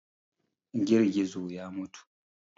Girgizo ya mutu.